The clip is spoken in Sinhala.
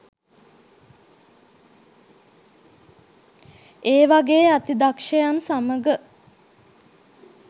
ඒවගේ අති දක්ෂයන් සමග